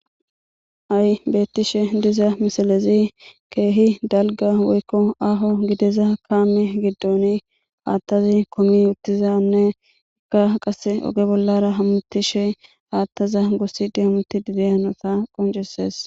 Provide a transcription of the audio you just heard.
ay beettishe diza misalezi keehi dalga woykko aaho gideza kaame giddoni haattazi komi uttizanne ekka qase oge bollara hamutishe haattaza goossi di hamuti dide hanota qonceses